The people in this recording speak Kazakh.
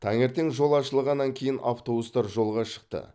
таңертең жол ашылғаннан кейін автобустар жолға шықты